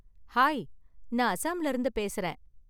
Hi! நான் அஸாம்ல இருந்து பேசுறேன்.